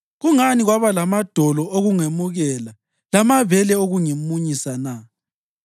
Kungani kwaba lamadolo okungemukela lamabele okungimunyisa na?